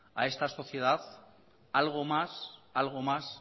a esta sociedad algo más